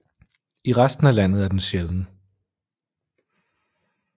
I resten af landet er den sjælden